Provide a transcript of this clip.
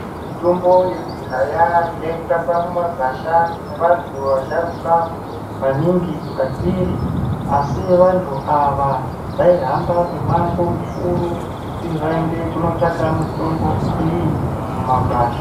Mitombo yekudhaya yaitsvakwa mumagwashaa ngevantu vashurukwa maningi kwatiri. Asi vantu ava vaihamba mimango mikuru kuti vaende kotsvaka mitombo iyi mumagwasha.